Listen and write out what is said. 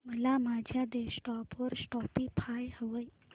मला माझ्या डेस्कटॉप वर स्पॉटीफाय हवंय